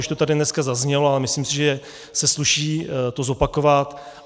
Už to tady dneska zaznělo a myslím si, že se sluší to zopakovat.